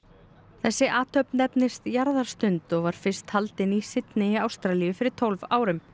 þessi athöfn nefnist jarðarstund og var fyrst haldin í Syndey í Ástralíu fyrir tólf árum